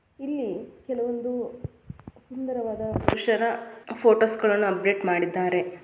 ಇಲ್ಲಿ ಕೇಳುವಂದು ಸುಂದರವಾದ ಪುರುಷರ ಫೋಟೋಸ್ ಗಳನ ಅಪ್ಡೇಟ್ ಮಾಡಿದ್ದಾರೆ.